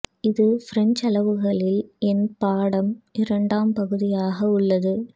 இது பிரஞ்சு அளவுகளில் என் பாடம் இரண்டாம் பகுதியாக உள்ளது